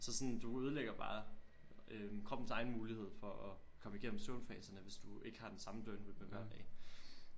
Så sådan du ødelægger bare øh kroppens egen mulighed for at komme igennem søvnfaserne hvis du ikke har den samme døgnrytme hver dag